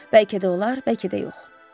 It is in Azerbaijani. Bəlkə də olar, bəlkə də yox.